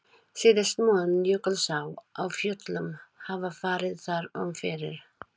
Síðast mun Jökulsá á Fjöllum hafa farið þar um fyrir